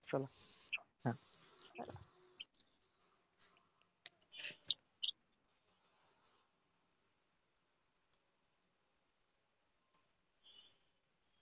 चला.